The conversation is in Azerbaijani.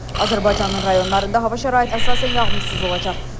Azərbaycanın rayonlarında hava şəraiti əsasən yağmursuz olacaq.